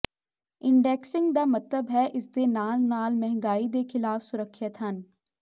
indexing ਦਾ ਮਤਲਬ ਹੈ ਇਸ ਦੇ ਨਾਲ ਨਾਲ ਮਹਿੰਗਾਈ ਦੇ ਖਿਲਾਫ ਸੁਰੱਖਿਅਤ ਹਨ